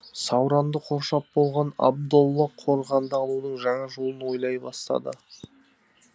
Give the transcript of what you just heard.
сауранды қоршап болған абдолла қорғанды алудың жаңа жолын ойлай бастады